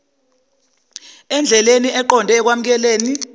endleleni eqonde ekwamukeleni